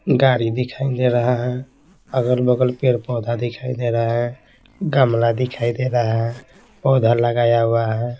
गाड़ी दिखाई दे रहा है अगल-बगल पेड़ पौधा दिखाई दे रहा है गमला दिखाई दे रहा है पौधा लगाया हुआ है।